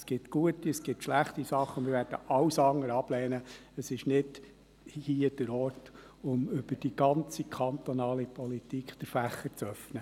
Es gibt gute und schlechte Sachen, aber hier ist nicht der Ort, um den Fächer über die ganze kantonale Politik zu öffnen.